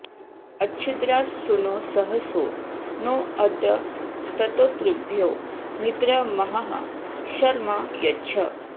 अच्छिद्रा सूनो सहसो नो अद्य स्तोतृभ्यो मित्रमहः शर्म यच्छ